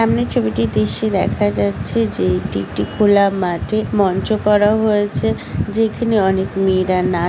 সামনে ছবিটির দৃশ্যে দেখা যাচ্ছে যে এটি একটি খোলা মাঠে মঞ্চ করা হয়েছে যেখানে অনেক মেয়েরা না--